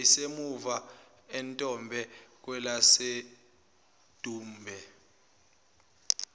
yayisemuva entombe kwelasedumbe